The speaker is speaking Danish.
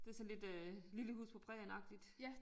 Det sådan lidt øh Lille Hus på Prærien agtigt